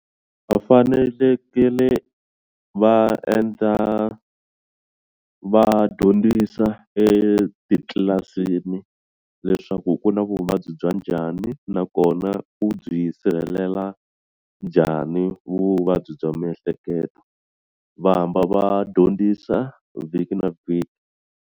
Va fanelekele va endla va dyondzisa etitlilasini leswaku ku na vuvabyi bya njhani nakona u byi sirhelela njhani vuvabyi bya miehleketo va hamba va dyondzisa vhiki na vhiki.